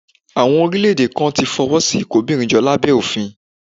Àwọn orílẹ̀-èdè kan ti fọwọ́ sí ìkóbìnrinjọ lábẹ́ òfin